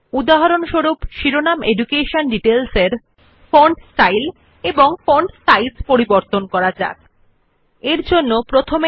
উদাহরণস্বরূপ আসুন শিরোনাম শিক্ষা বিবরণ একটি ভিন্ন ফন্ট স্টাইল এবং ফন্ট সাইজ করা For example let us give the heading education details a different font style and font size